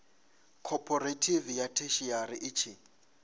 khophorethivi ya theshiari i tshi